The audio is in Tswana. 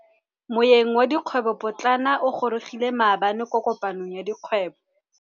Moêng wa dikgwêbô pôtlana o gorogile maabane kwa kopanong ya dikgwêbô.